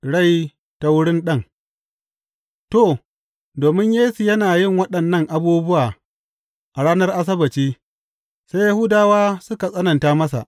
Rai ta wurin Ɗan To, domin Yesu yana yin waɗannan abubuwa a ranar Asabbaci, sai Yahudawa suka tsananta masa.